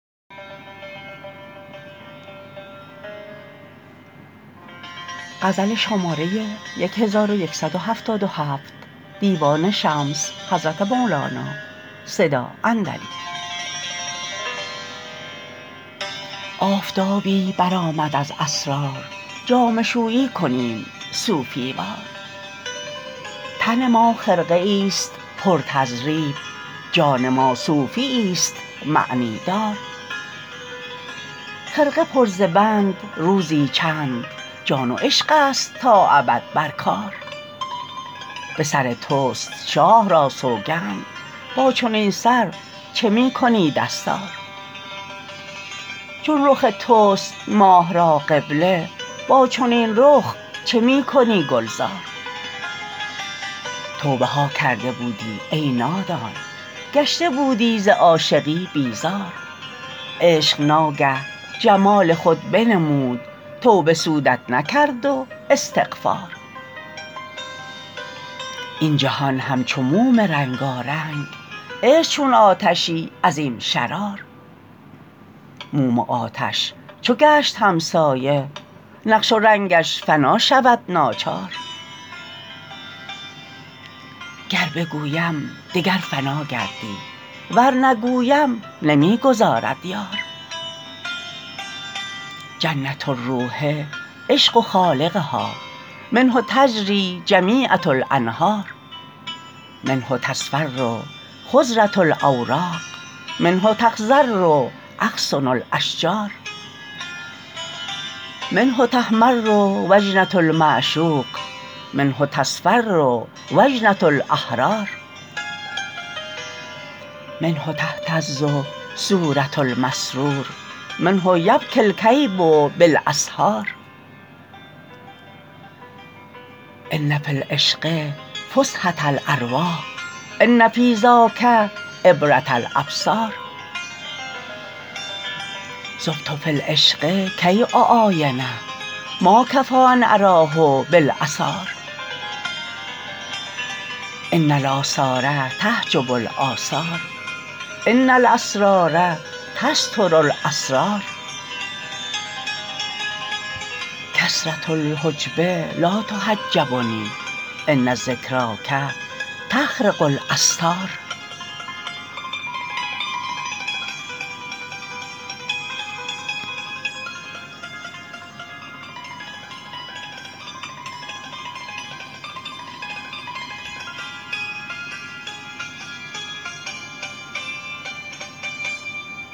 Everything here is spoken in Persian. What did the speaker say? آفتابی برآمد از اسرار جامه شویی کنیم صوفی وار تن ما خرقه ای ست پر تضریب جان ما صوفی یست معنی دار خرقه پر ز بند روزی چند جان و عشق است تا ابد بر کار به سر توست شاه را سوگند با چنین سر چه می کنی دستار چون رخ توست ماه را قبله با چنین رخ چه می کنی گلزار توبه ها کرده بودی ای نادان گشته بودی ز عاشقی بیزار عشق ناگه جمال خود بنمود توبه سودت نکرد و استغفار این جهان همچو موم رنگارنگ عشق چون آتشی عظیم شرار موم و آتش چو گشت همسایه نقش و رنگش فنا شود ناچار گر بگویم دگر فنا گردی ور نگویم نمی گذارد یار جنه الروح عشق خالقها منه تجری جمیعه الانهار منه تصفر خضره الاوراق منه تخضر اغصن الاشجار منه تحمر و جنه المعشوق منه تصفر و جنه الاحرار منه تهتز صوره المسرور منه یبکی الکییب بالاسحار ان فی العشق فسحه الارواح ان فی ذاک عبره الابصار ذبت فی العشق کی اعاینه ما کفی ان اراه باثار ان اثار تعجب اثار ان الاسرار تستر الاسرار کثره الحجب لا تحجبنی ان ذکراک تخرق الاستار